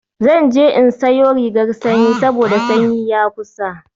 Zan je in sayo rigar sanyi saboda sanyi ya kusa